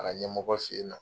A ka ɲɛmɔgɔ fen yen nɔ